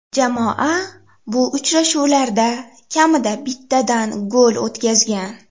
Jamoa bu uchrashuvlarda kamida bittadan gol o‘tkazgan.